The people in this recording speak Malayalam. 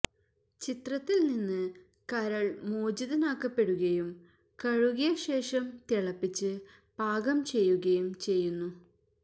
ചിത്രത്തിൽ നിന്ന് കരൾ മോചിതനാക്കപ്പെടുകയും കഴുകിയശേഷം തിളപ്പിച്ച് പാകം ചെയ്യുകയും ചെയ്യുന്നു